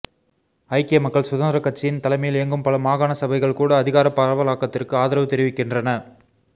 ஐக்கிய மக்கள் சுதந்திரக் கட்சியின் தலைமையில் இயங்கும் பல மாகாண சபைகள் கூட அதிகாரப் பரவலாக்கத்திற்கு ஆதரவு தெரிவிக்கின்றன